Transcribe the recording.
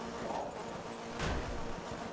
O teatro?